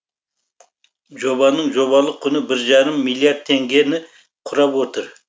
жобаның жобалық құны бір жарым миллиард теңгені құрап отыр